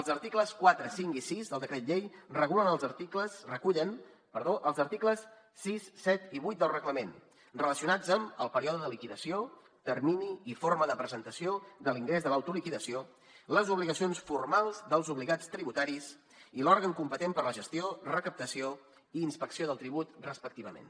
els articles quatre cinc i sis del decret llei recullen els articles sis set i vuit del reglament relacionats amb el període de liquidació termini i forma de presentació de l’ingrés de l’autoliquidació les obligacions formals dels obligats tributaris i l’òrgan competent per a la gestió recaptació i inspecció del tribut respectivament